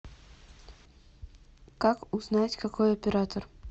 как узнать какой оператор